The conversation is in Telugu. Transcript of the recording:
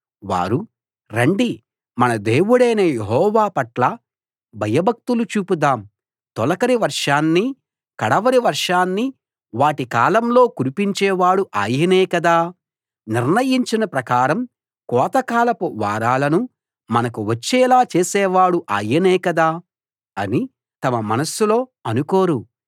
వారు రండి మన దేవుడైన యెహోవా పట్ల భయభక్తులు చూపుదాం తొలకరి వర్షాన్ని కడవరి వర్షాన్ని వాటి కాలంలో కురిపించేవాడు ఆయనే కదా నిర్ణయించిన ప్రకారం కోతకాలపు వారాలను మనకు వచ్చేలా చేసేవాడు ఆయనే కదా అని తమ మనస్సులో అనుకోరు